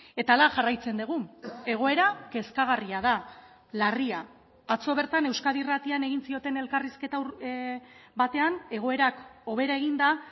eta hala jarraitzen dugu egoera kezkagarria da larria atzo bertan euskadi irratian egin zioten elkarrizketa batean egoerak hobera eginda